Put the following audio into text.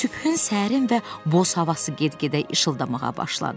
Sübhün, səhərin və boz havası get-gedə işıldamağa başladı.